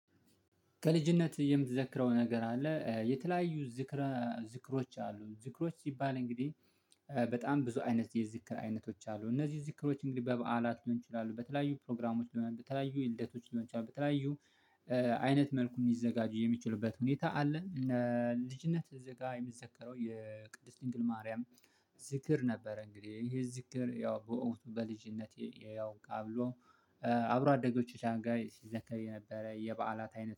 ከልጅነት የምትዘክረው ነገር አለ? የተለያዩ ዝክረ ዝክሮች አሉ ዝክሮች ሲባል እንግዲህ እ በጣም ብዙ አይነት የዝክር አይነቶች አሉ። እነዚህ ዝክሮች እንግዲህ በበዓላት ሊሆን ይችላሉ በተለያዩ ፕሮግራሞች ሊሆን በተለያዩ የልደቶች ሊሆን ይችላል። በተለያዩ እ አይነት መልኩ የሚዘጋጁ የሚችሉበት ሁኔታ አለን። እ ልጅነት እዚህ ጋር የሚዘከረው የቅድስት ድንግል ማርያም ዝክር ነበረ። እንግዲህ ይሄ ዝክር ያው በእውን በልጅነቴ አውቃለሁ። አብሮ አደጎች ሻንጋይ ሲዘከር የነበረ የበዓላት አይነት